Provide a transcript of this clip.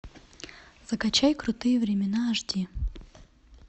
закачай крутые времена аш ди